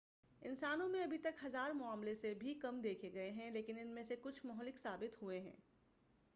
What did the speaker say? انسانوں میں ابھی تک ہزار معاملے سے بھی کم دیکھے گئے ہیں لیکن ان میں سے کچھ مہلک ثابت ہوئے ہیں